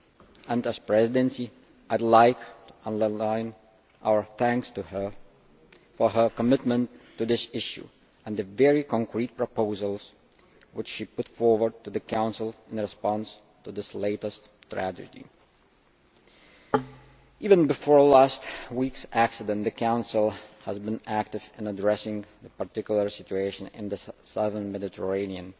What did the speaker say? On behalf of the Presidency I would like to underline our thanks to her for her commitment to this issue and the very concrete proposals which she put forward to the Council in response to this latest tragedy. Even before last week's accident, the Council has been active in addressing the particular situation in the southern Mediterranean.